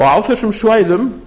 á þessum svæðum